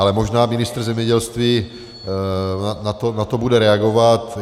Ale možná ministr zemědělství na to bude reagovat.